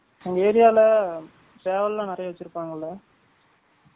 உங்க ஏரியால சேவல் லாம் நிராயா வச்சுருபாங்கல?